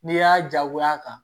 N'i y'a jagoya kan